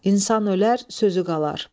İnsan ölər, sözü qalar.